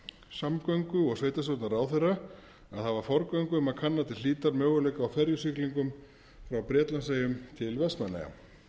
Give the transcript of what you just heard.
samgöngu og sveitarstjórnarráðherra að hafa forgöngu um að kanna til hlítar möguleika á ferjusiglingum frá bretlandseyjum til vestmannaeyja